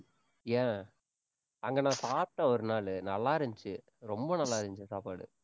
ஏன் அங்க நான் சாப்பிட்டேன் ஒரு நாளு, நல்லா இருந்துச்சு. ரொம்ப நல்லா இருந்துச்சு சாப்பாடு